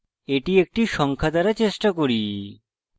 এটি একটি সংখ্যা দ্বারা চেষ্টা করি